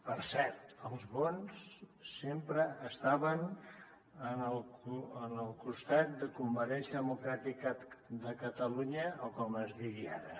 per cert els bons sempre estaven en el costat de convergència democràtica de catalunya o com es digui ara